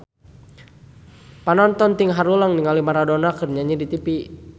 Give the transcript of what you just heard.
Panonton ting haruleng ningali Maradona keur nyanyi di tipi